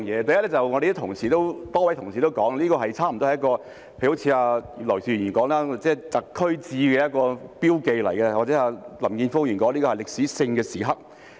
第一，正如多位同事所說，例如葉劉淑儀議員說這是"特區誌"，是一個標記，或林健鋒議員說這是歷史性的時刻。